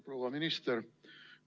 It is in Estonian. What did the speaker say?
Proua minister!